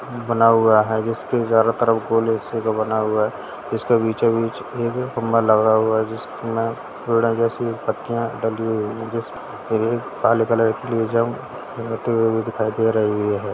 बना हुआ है बना हुआ है इसके बीचो बीच एक खंबा लगा हुआ है जिसमे जैसी पत्तियाँ काले कलर की दिखाई दे रही है।